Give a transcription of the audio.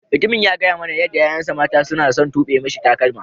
Mutumin ya gaya mana yadda yayan sa mata suna son tube misi takalma.